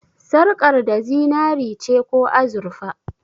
Sarƙar da zinare ce ko azurfa?